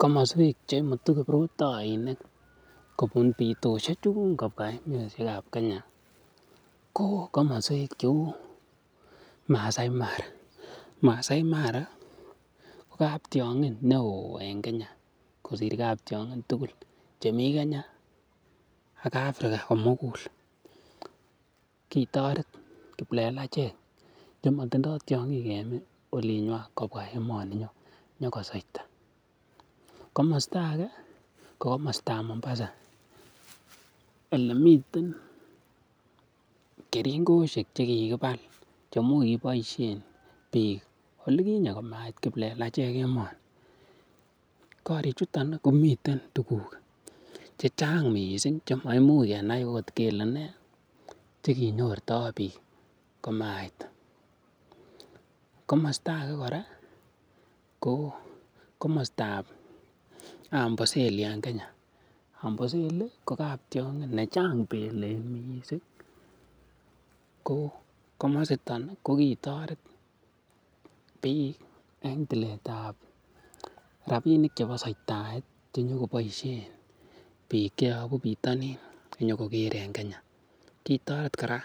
Komoswek che imutu kiprutoinik kobun bitoshek chun kobwa komoswek ab Kenya ko komoswek cheu Maasai Mara. Maasai Mara ko kap tiong'in neo en Kenya, kosir kap tiong'in tugul che mi Kenya ak Africa komugul. Kitoret kiplelachek chematindoi tiong'in en olinywan kobwa emoninyon nyokosweita. Komosta age, ko komostab Mombasa ele miten keringosiek che kigibal che imuch kokiboisien beek oli kinyee komait kiplelachek emoni. Korichuton ii komiten tuguk che chang mising che maimuch kenai agot kele nee che kinyorto biik komait. Komosta age kora ko komostab Amboseli en Kenya. Amboseli ko kaptiong'in ne chang belek mising, ko komositon ko kitoret biik en tiletab rabinik chebo sweitaet che nyo koboisien biik che yobu bitonin inyokogere en Kenya. Kitoret kora